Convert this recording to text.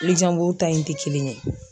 ta in tɛ kelen ye.